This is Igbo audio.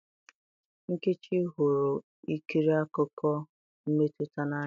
Nkechi hụrụ ikiri akụkọ mmetụta n'anya